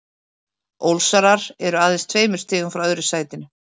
Ólsarar eru aðeins tveimur stigum frá öðru sætinu.